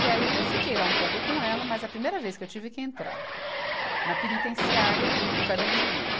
E aí eu fiquei lá um pouco com ela, mas a primeira vez que eu tive que entrar na penitenciária do Carandiru